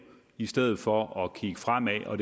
i stedet for at kigge fremad og